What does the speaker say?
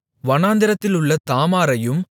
பாலாத்தையும் வனாந்திரத்திலுள்ள தாமாரையும்